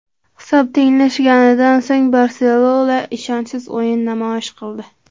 Hisob tenglashganidan so‘ng ‘Barselona’ ishonchsiz o‘yin namoyish qildi.